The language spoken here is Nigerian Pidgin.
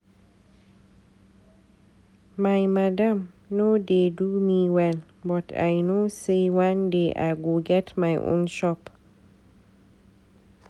My madam no dey do me well but I know sey one day I go get my own shop.